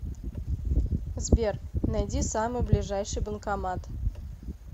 сбер найди самый ближайший банкомат